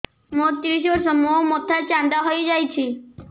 ମୋ ତିରିଶ ବର୍ଷ ମୋ ମୋଥା ଚାନ୍ଦା ହଇଯାଇଛି